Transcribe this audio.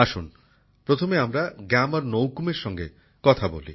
আসুন প্রথমে আমরা গ্যামর নৌকুমের সঙ্গে কথা বলি